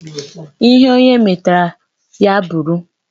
Ihe onye metara ya bụrụ